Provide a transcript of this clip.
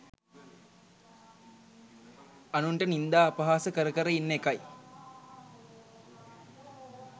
අනුන්ට නින්දා අපහාස කර කර ඉන්න එකයි